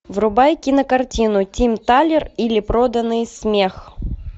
врубай кинокартину тим талер или проданный смех